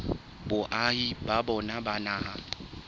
boahi ba bona ba naha